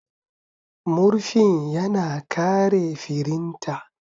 Murfin ya na kare firinta.